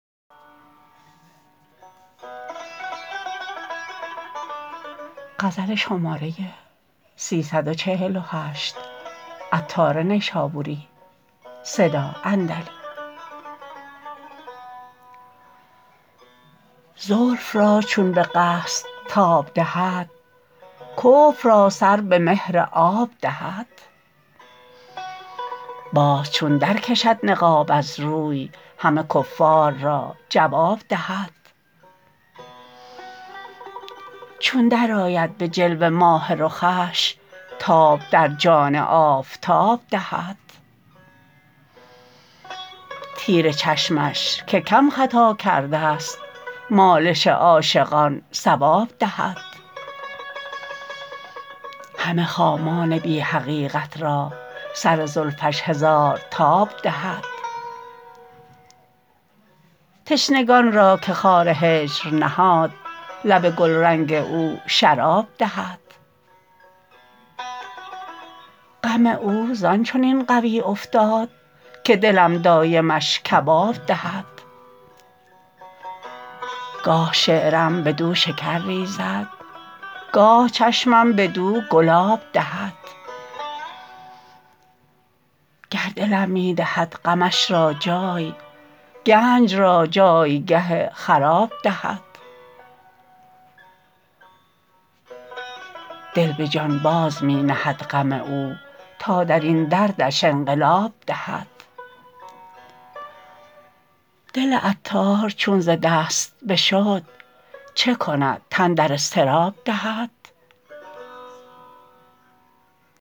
زلف را چون به قصد تاب دهد کفر را سر به مهر آب دهد باز چون درکشد نقاب از روی همه کفار را جواب دهد چون درآید به جلوه ماه رخش تاب در جان آفتاب دهد تیر چشمش که کم خطا کرده است مالش عاشقان صواب دهد همه خامان بی حقیقت را سر زلفش هزار تاب دهد تشنگان را که خار هجر نهاد لب گلرنگ او شراب دهد غم او زان چنین قوی افتاد که دلم دایمش کباب دهد گاه شعرم بدو شکر ریزد گاه چشمم بدو گلاب دهد گر دلم می دهد غمش را جای گنج را جایگه خراب دهد دل به جان باز می نهد غم او تا درین دردش انقلاب دهد دل عطار چون ز دست بشد چکند تن در اضطراب دهد